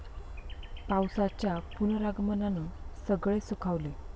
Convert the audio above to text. पावसाच्या पुनरागमनानं सगळे सुखावले